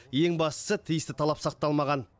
ең бастысы тиісті талап сақталмаған